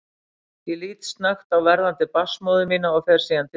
Ég lít snöggt á verðandi barnsmóður mína og fer síðan til dyra.